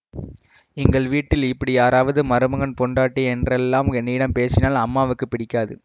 எங்கள் வீட்டில் இப்படி யாராவது மருமகன் பெண்டாட்டி என்றெல்லாம் என்னிடம் பேசினால் அம்மாவுக்கு பிடிக்காது